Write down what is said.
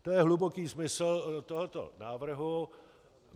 To je hluboký smysl tohoto návrhu.